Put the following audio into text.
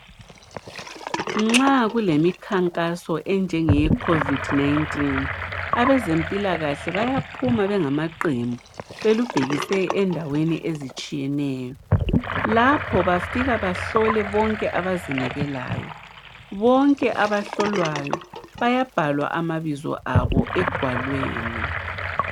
Nxa kulemikhankaso enjenge ye covid 19 abezempilakahle bayaphuma bengama qembu belubhekise endaweni ezitshiyeneyo lapha bafike behlole bonke abazinikelayo, bonke abahlolwayo bayabhala amabizo abo egwalweni.